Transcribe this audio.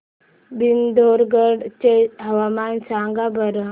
पिथोरगढ चे हवामान सांगा बरं